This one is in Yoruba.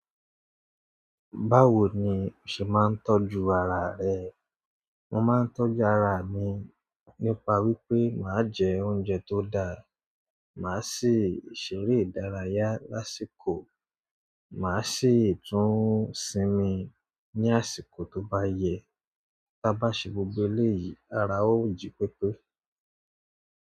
Báwo ni o ṣe máa ń tọ́jú ara rẹ? Mo máa ń tọ́jú ara mi nípa wípé màá jẹ oúnjẹ tó dáa, màá ṣe ṣeré ìdárayá lásìkò, màá ṣi ì tun sinmi ní àsìkò tó bá yẹ. Bá ṣe gbogbo eléyìí, ara ó jipepe.